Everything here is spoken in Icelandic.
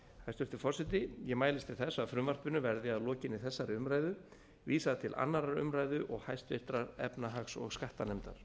hæstvirtur forseti ég mælist til þess að frumvarpinu verði að lokinni þessari umræðu vísað til annarrar umræðu og háttvirtrar efnahags og skattanefndar